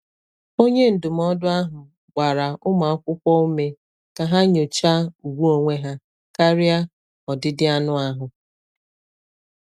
Onye ndụmọdụ ahụ gbara ụmụ akwụkwọ ume ka ha nyochaa ùgwù onwe ha karịa ọdịdị anụ ahụ.